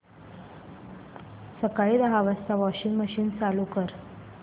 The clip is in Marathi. सकाळी दहा वाजता वॉशिंग मशीन चालू कर